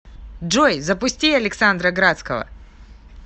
джой запусти александра градского